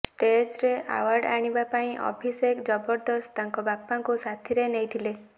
ଷ୍ଟେଜରେ award ଆଣିବା ପାଇଁ ଅଭିଷେକ ଜବରଦସ୍ତ ତାଙ୍କ ବାପାଙ୍କୁ ସାଥିରେ ନେଇଥିଲେ